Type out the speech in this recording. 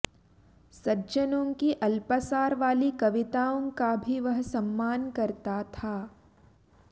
सज्जनों की अल्पसार वाली कविताओं का भी वह सम्मान करता था